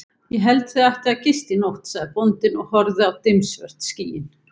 Ég held þið ættuð að gista í nótt, sagði bóndinn og horfði á dimmsvört skýin.